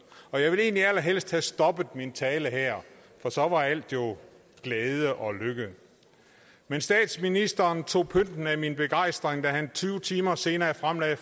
og jeg ville egentlig allerhelst have stoppet min tale her for så var alt jo glæde og lykke men statsministeren tog pynten af min begejstring da han tyve timer senere fremlagde